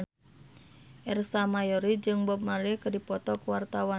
Ersa Mayori jeung Bob Marley keur dipoto ku wartawan